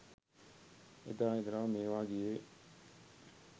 එදා ඉදලම මේවා ගියේ